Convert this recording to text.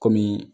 Kɔmi